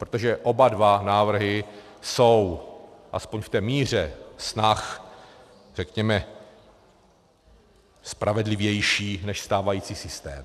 Protože oba dva návrhy jsou, alespoň v té míře snah, řekněme, spravedlivější než stávající systém.